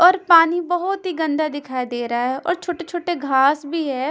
और पानी बहुत ही गंदा दिखाई दे रहा है और छोटे-छोटे घास भी है।